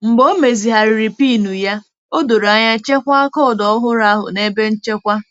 Mgbe o mezigharịrị PIN ya, o doro anya chekwaa koodu ọhụrụ ahụ na ebe nchekwa.